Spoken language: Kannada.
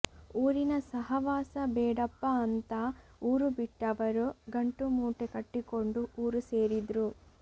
ಊರಿನ ಸಹವಾಸ ಬೇಡಪ್ಪಾ ಅಂತಾ ಊರು ಬಿಟ್ಟವರು ಗಂಟು ಮೂಟೆ ಕಟ್ಟಿಕೊಂಡು ಊರು ಸೇರಿದ್ರು